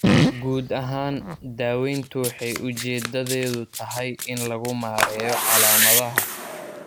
Guud ahaan, daaweyntu waxay ujeedadeedu tahay in lagu maareeyo calaamadaha.